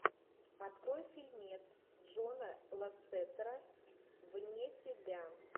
открой фильмец джона лассетера вне себя